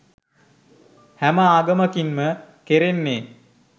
හැම ආගමකින් ම කෙරෙන්නේ